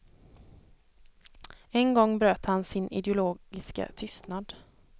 En gång bröt han sin ideologiska tystnad.